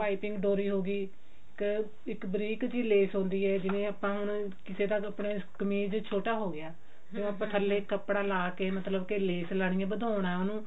ਪਾਈਪਿੰਨ ਡੋਰੀ ਹੋਗੀ ਇੱਕ ਇੱਕ ਬਰੀਕ ਜੀ ਲੈਸ ਹੁੰਦੀ ਹੈ ਜਿਵੇਂ ਆਪਾਂ ਹੁਣ ਕਿਸੇ ਦਾ ਕਮੀਜ਼ ਛੋਟਾ ਹੋਗੀਆ ਹੁਣ ਆਪਾਂ ਥੱਲੇ ਕੱਪੜਾ ਲਾ ਕਿ ਮਤਲਬ ਕਿ ਲੈਸ ਲਾਉਣੀ ਹੈ ਵਧਾਉਣਾ ਹੈ ਉਹਨੂੰ